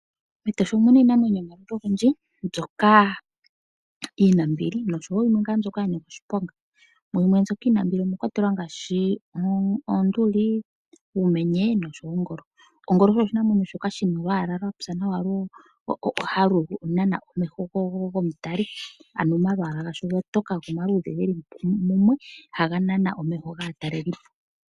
Metosha omuna iinamwenyo yo maludhi ogendji mbyoka yina ombili nosho wo yimwe ngaa mbyoka ya nika oshiponga. Mu mbyoka iinambiliomwa kwatelwa Oonduli, Uumenye nosho wo Oongolo. Ongolo osho oshinamwenyo shoka shina olwaala lwapya nawa halu nana omeho gomutali. Ano omalwaala gasho ogatoka go omaluudhe geli mumwe haga nana omeho gaatalelipo.